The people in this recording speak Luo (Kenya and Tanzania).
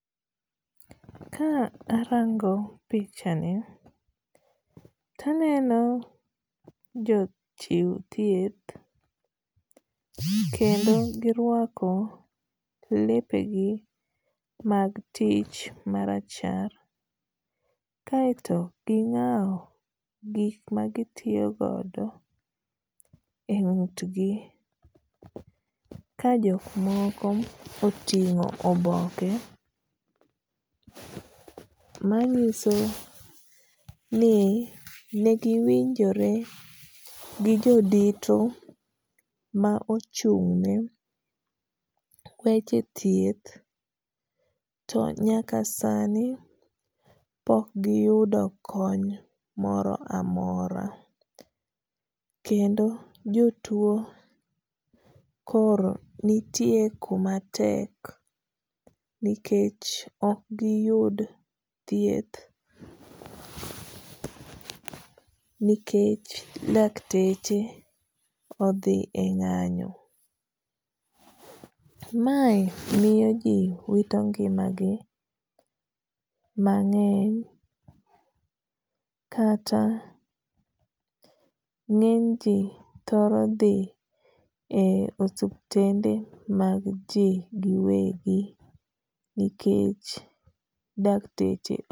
Ka arango pichani to aneno jo chiw thieth kendo girwako lepe gi mag tich ma rachar. Kaeto ging'aw gik magitiyo godo e ng'ut gi ka jok moko oting'o oboke manyiso ni negiwinjore gi jo dito ma ochung' ne weche thieth. To nyaka sani pok giyudo kony moro amora kendo jo tuo koro nitie kuma tek nikech ok giyud thieth nikech lakteche odhi e ng'anyo. Mae miyo ji wito ngima gi mang'eny kata ng'eny ji thoro dhi e osuptende mag ji giwegi nikech dakteche